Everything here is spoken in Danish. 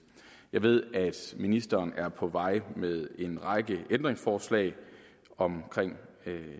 jeg ved at ministeren er på vej med en række ændringsforslag om